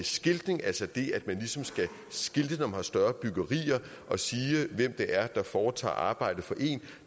skiltning altså det at man ligesom skal skilte har større byggerier hvem der foretager arbejde for en